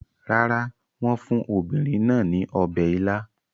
Rárá, wọ́n fún obìnrin náà ní ọbẹ̀ ila.